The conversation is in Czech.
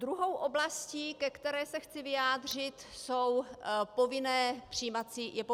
Druhou oblastí, ke které se chci vyjádřit, jsou povinné přijímací zkoušky.